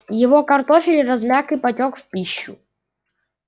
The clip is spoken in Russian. его картофель размяк и потёк в пищу